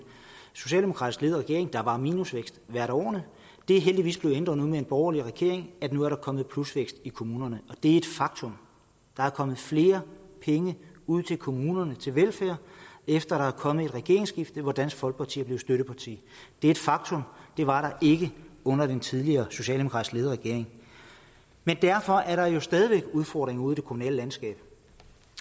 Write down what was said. socialdemokratisk ledede regering og der var minusvækst hvert af årene det er heldigvis blevet ændret nu med en borgerlig regering nu er der kommet plusvækst i kommunerne det er et faktum der er kommet flere penge ud til kommunerne til velfærd efter der er kommet et regeringsskifte og dansk folkeparti er blevet støtteparti det er et faktum det var ikke under den tidligere socialdemokratisk ledede regering derfor er der stadig udfordringer ude i det kommunale landskab